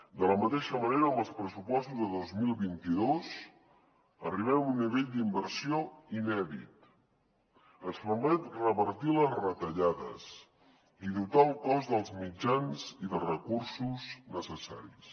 de la mateixa manera amb els pressupostos de dos mil vint dos arribem a un nivell d’inversió inèdit ens permet revertir les retallades i dotar el cos dels mitjans i dels recursos necessaris